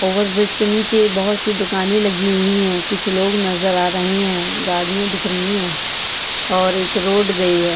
Over bridge के नीचे बहुत सी दुकान लगी हुई है कुछ लोग नजर आ रहे हैं गाडियां दिख रही है और एक रोड गई है।